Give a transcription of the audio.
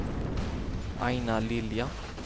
Aina Lilja